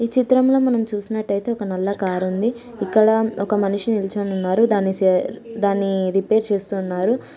ఈ చిత్రంలో మనం చూసినట్లయితే ఒక నల్ల కార్ ఉంది ఇక్కడ ఒక మనిషి నిల్చొని ఉన్నారు దాన్ని దాన్ని రిపేర్ చేస్తూ ఉన్నారు.